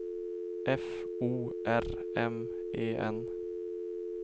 F O R M E N